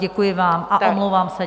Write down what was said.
Děkuji vám a omlouvám se.